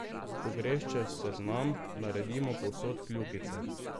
Ko greš čez seznam, naredimo povsod kljukice.